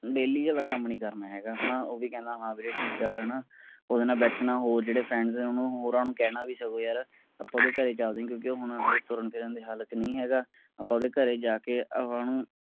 daily ਵਾਲਾ ਕੰਮ ਨੀ ਕਰਨਾ ਹੈਗਾ ਹੈਨਾ ਉਹ ਵੀ ਕਹਿੰਦਾ ਹਾਂ ਵੀਰੇ ਠੀਕ ਐ ਹੈਨਾ ਓਹਨੇ ਬੈਠਣਾ ਹੋਰ ਜਿਹੜੇ friends ਹੋਣੇ ਓਹਨੇ ਹੋਰਾਂ ਨੂੰ ਕਹਿਣਾਂ ਵੀ ਚਲੋ ਯਾਰ ਆਪਾਂ ਓਹਦੇ ਘਰੇ ਚਲਦੇ ਆਂ ਕਿਉਂਕਿ ਉਹ ਹਜੇ ਤੁਰਨ ਫਿਰਨ ਦੀ ਹਾਲਤ ਚ ਨਹੀਂ ਹੈਗਾ। ਆਪਾਂ ਓਹਦੇ ਘਰੇ ਜਾ ਕੇ ਓਹਨੂੰ